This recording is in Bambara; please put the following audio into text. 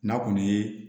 N'a kɔni ye